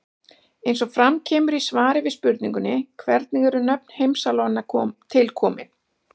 Eins og fram kemur í svari við spurningunni Hvernig eru nöfn heimsálfanna til komin?